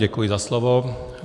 Děkuji za slovo.